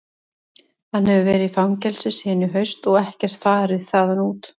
Hann hefur verið í fangelsi síðan í haust og ekkert farið þaðan út.